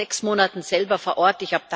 Ich war vor sechs Monaten selber vor Ort.